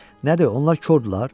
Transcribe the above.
Nədir, onlar kordular?